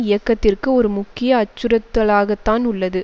இயக்கத்திற்கு ஒரு முக்கிய அச்சுறுத்தலாகத்தான் உள்ளது